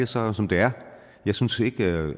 så som det er jeg synes ikke at